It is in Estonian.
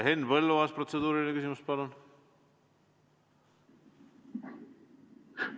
Henn Põlluaas, protseduuriline küsimus, palun!